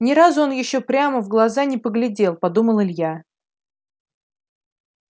ни разу он ещё ему прямо в глаза не поглядел подумал илья